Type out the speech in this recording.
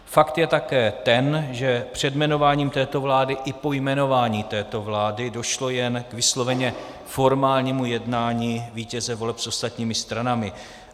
Fakt je také ten, že před jmenováním této vlády i po jmenování této vlády došlo jen k vysloveně formálnímu jednání vítěze voleb s ostatními stranami.